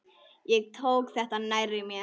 Ég tók þetta nærri mér.